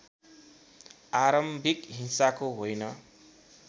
आरम्भिक हिंसाको होइन